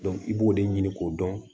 i b'o de ɲini k'o dɔn